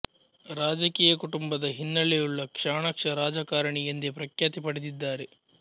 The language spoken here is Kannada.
ರಾಜಕೀಯ ಕುಟುಂಬದ ಹಿನ್ನೆಲೆಯುಳ್ಳ ಚಾಣಾಕ್ಷ ರಾಜಕಾರಣಿ ಎಂದೇ ಪ್ರಖ್ಯಾತಿ ಪಡೆದಿದ್ದಾರೆ